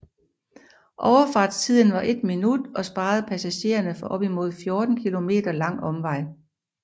Overfartstiden var 1 minut og sparede passagererne for en op til 14 kilometer lang omvej